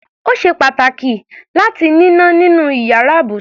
Ó ṣe pàtàkì láti níná nínú iyàrá ibùsùn.